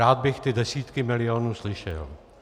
Rád bych ty desítky milionů slyšel.